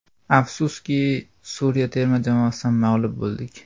Afsuski, Suriya terma jamoasidan mag‘lub bo‘ldik.